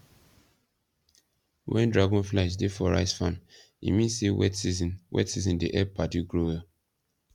when dragonflies dey for rice farm e mean say wet season wet season dey help paddy grow well